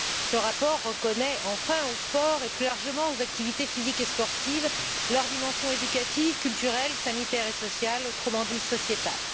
Ce rapport reconnaît enfin au sport, et plus largement aux activités physiques et sportives, leurs dimensions éducatives, culturelles, sanitaires et sociales, autrement dit sociétales.